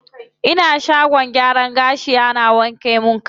Ina shagon gyaran gashi ana wanke min kai.